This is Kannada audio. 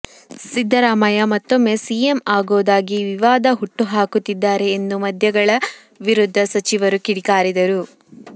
ಸಿದ್ಧರಾಮಯ್ಯ ಮತ್ತೊಮ್ಮೆ ಸಿಎಂ ಆಗೋದಾಗಿ ವಿವಾದ ಹುಟ್ಟು ಹಾಕುತ್ತಿದ್ದಾರೆ ಎಂದು ಮಧ್ಯಗಳ ವಿರುದ್ದ ಸಚಿವರು ಕಿಡಿಕಾರಿದರು